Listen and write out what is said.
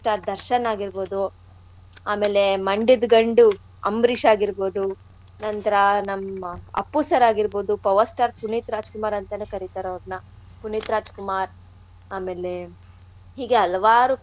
ದರ್ಶನ್ ಆಗಿರ್ಬೋದು ಆಮೇಲೆ ಮಂಡ್ಯದ್ ಗಂಡು ಅಂಬ್ರೀಷ್ ಆಗಿರ್ಬೋದು ನಂತ್ರಾ ನಮ್ಮ್ ಅಪ್ಪು sir ಆಗಿರ್ಬೋದು power star ಪುನೀತ್ ರಾಜ್ಕುಮಾರ್ ಅಂತಾನೆ ಕರೀತಾರ್ ಅವ್ರ್ನ, ಪುನೀತ್ ರಾಜ್ ಕುಮಾರ್ ಆಮೇಲೆ ಹೀಗೆ ಹಲವಾರು.